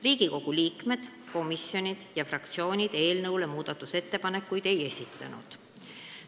Riigikogu liikmed, komisjonid ega fraktsioonid eelnõu muutmiseks ettepanekuid ei esitanud.